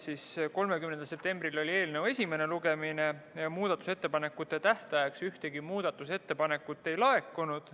Muudatusettepanekute tähtajaks ühtegi muudatusettepanekut ei laekunud.